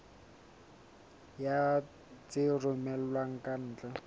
ya tse romellwang ka ntle